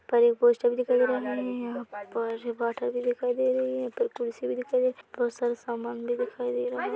--पर पोस्टर दिखाई दे रहे है यहाँ पर बोतल भी दिखाई दे रहे है पर तुलसी भी दिखाई दे रही है बहुत सारी समान भी दिखाई दे रहा ---